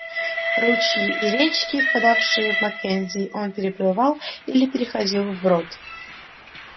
ручьи и речки впадавшие в маккензи он переплывал или переходил вброд